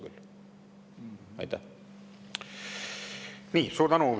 Suur tänu!